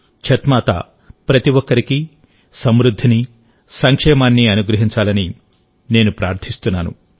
ఛత్ మాత ప్రతి ఒక్కరికీ సమృద్ధినిసంక్షేమాన్ని అనుగ్రహించాలని నేను ప్రార్థిస్తున్నాను